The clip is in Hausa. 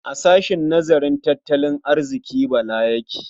A sahshen nazarin tattalin arziƙi Bala yake?